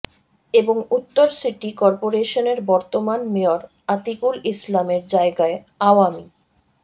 এবং উত্তর সিটি করপোরেশনের বর্তমান মেয়র আতিকুল ইসলামের জায়গায় আওয়ামী